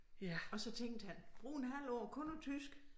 Og så tænkte han bruge en halv år kun på tysk